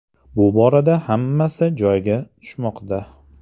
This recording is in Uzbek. Bu borada hammasi joyiga tushmoqda.